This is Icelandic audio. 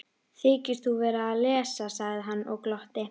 Þykist þú vera að lesa, sagði hann og glotti.